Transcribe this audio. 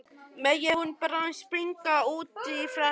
Megi hún bráðum springa út í frelsið.